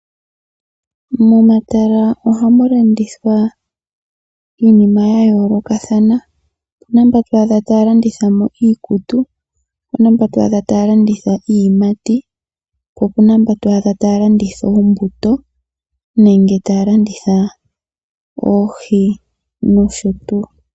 Momatala ohamu landithwa iinima ya yooloka. Opuna mbaa to adhamo taya landitha iikutu. Opuna mba twaadha taya landitha iiyimati. Po opuna mba twaadha taya landitha oombuto nenge taya landitha oohi noshotuu.